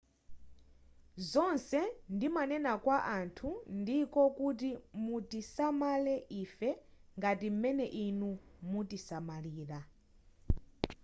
zonse ndimanena kwa anthu ndiko kuti mutisamalire ife ngati m'mene inu mumatisamalira